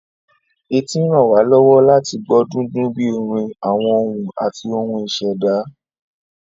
Etí ràn wá lọ́wọ́ láti gbọ́ dúndún bíi orin, àwọn ohùn, àti ohun ìṣẹ̀dá